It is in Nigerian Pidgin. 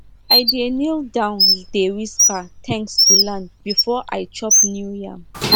i dey kneel down dey whisper thanks to land before i chop new yam